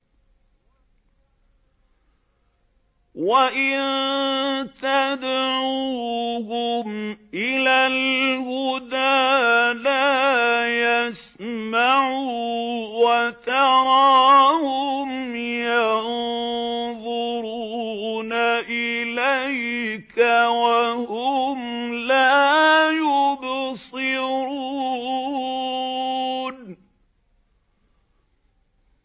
وَإِن تَدْعُوهُمْ إِلَى الْهُدَىٰ لَا يَسْمَعُوا ۖ وَتَرَاهُمْ يَنظُرُونَ إِلَيْكَ وَهُمْ لَا يُبْصِرُونَ